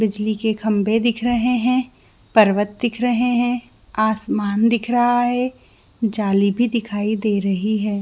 बिजली के खंबे दिख रहे है पर्वत दिख रहे है आसमान दिख रहा है जाली भी दिखई दे रही है।